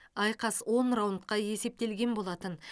айқас он раундқа есептелген болатын